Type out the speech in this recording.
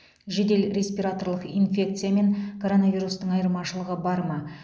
жедел респираторлық инфекция мен коронавирустың айырмашылығы бар ма